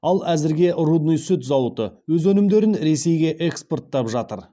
ал әзірге рудный сүт зауыты өз өнімдерін ресейге экспорттап жатыр